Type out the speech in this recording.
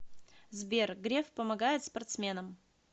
сбер греф помогает спортсменам